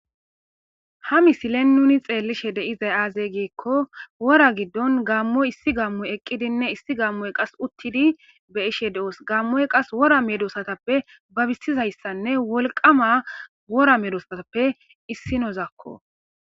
Ha misilen nuni xeellishe de7izay aaze giikko wora giddon gaammoy issi gammoy eqqidinne issi gammoy qas uttidi be7ishe de7oos. Gammoy qas wora medoosatappe babissizayssanne wolqama wora medoosatappe issinozakko.